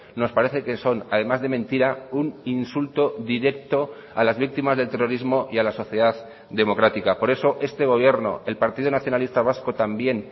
nos parece que son además de mentira un insulto directo a las víctimas del terrorismo y a la sociedad democrática por eso este gobierno el partido nacionalista vasco también